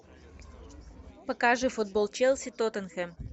покажи футбол челси тоттенхэм